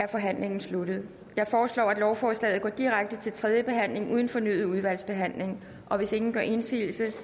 er forhandlingen sluttet jeg foreslår at lovforslaget går direkte til tredje behandling uden fornyet udvalgsbehandling og hvis ingen gør indsigelse